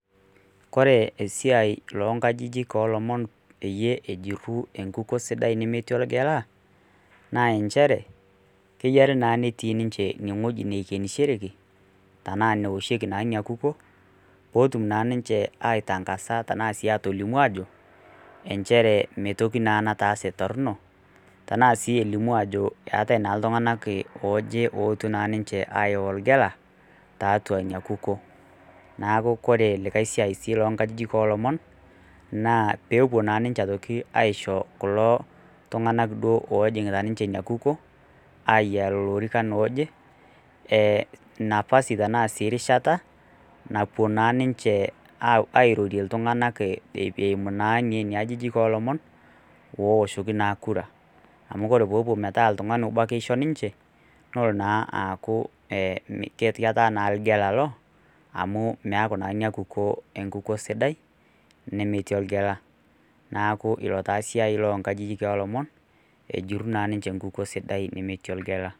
Kore esiai loo nkajijik o ilomon peyie ejiru enkukuo sidai metii olgela, naa enchere keyare naa netii nincheine wueji naikenishoreki, tanaa neoshieki naa ina kukuo, pee etum naa ninche aitang'aza tanaa sii atolimu aajo enchere etii naa toki nataase torno, tanaa sii elimu aajo eatai naa iltung'anaa ooje oetuo naa ninche ayau olgela tiatua ina kukuo. Neaku kore likai siai sii loo nkajijik o ilomon naa peepuo naa ninche aitoki aisho kulo tung'ana duo ojing'ita ninye ina kukuo ayaa lelo orika ooje enafasi tanaa sii rishata, napuo naa ninche apuo airorie iltung'ana eimu naa nena ajijik o ilomon pee eoshoki naa ekura, amu kore pee epuo metaa oltung'ani obo etaa keisho ninche nelo naa aaku ke ti naa lgela au meaku naa ina kukuo enkukuo sidai nemetii olgela, neaku ilo taa osiai loo nkajijik o ilomon, ejuru naa ninche ilomon lemetii lgela.